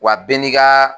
Wa bɛɛ n'i ka